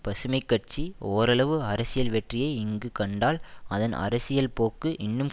பசுமை கட்சி ஓரளவு அரசியல் வெற்றியை இங்கு கண்டால் அதன் அரசியல் போக்கு இன்னும்